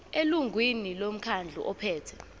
elungwini lomkhandlu ophethe